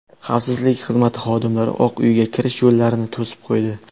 Xavfsizlik xizmati xodimlari Oq Uyga kirish yo‘llarini to‘sib qo‘ydi.